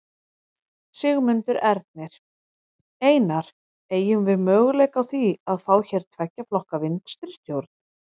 Sigmundur Ernir: Einar, eygjum við möguleika á því að fá hér tveggja flokka vinstristjórn?